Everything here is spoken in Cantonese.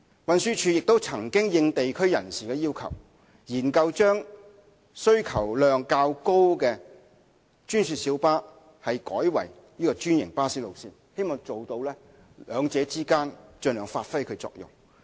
運輸署亦曾因應地區人士的要求，研究將需求量較高的專線小巴路線改為專營巴士路線，希望兩者之間盡量發揮其作用。